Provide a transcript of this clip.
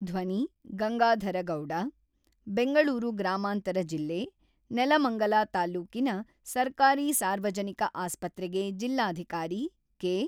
(ಧ್ವನಿ-ಗಂಗಾಧರಗೌಡ) ಬೆಂಗಳೂರು ಗ್ರಾಮಾಂತರ ಜಿಲ್ಲೆ, ನೆಲಮಂಗಲ ತಾಲ್ಲೂಕಿನ ಸರ್ಕಾರಿ ಸಾರ್ವಜನಿಕ ಆಸ್ಪತ್ರೆಗೆ ಜಿಲ್ಲಾಧಿಕಾರಿ ಕೆ.